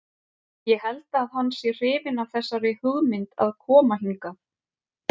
Ég held að hann sé hrifinn af þessari hugmynd að koma hingað.